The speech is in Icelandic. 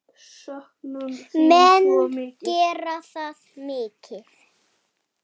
Menn gera það mikið.